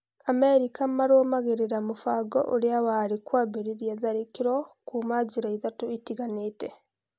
Amerika marũmagĩrĩra mũbango ũrĩa warĩ kwambĩrĩria tharĩkĩro kuuma njĩra ithatũ itiganĩte.